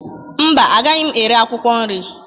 Mba, agaghị m ere akwụkwọ nri